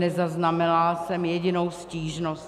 Nezaznamenala jsem jedinou stížnost.